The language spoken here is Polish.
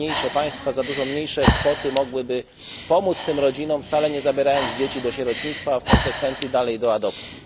Państwa za dużo mniejsze kwoty mogłyby pomóc tym rodzinom, wcale nie zabierając dzieci do sierocińca, a w konsekwencji dalej do adopcji.